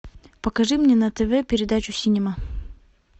покажи мне на тв передачу синема